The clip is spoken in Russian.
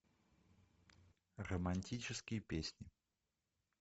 романтические песни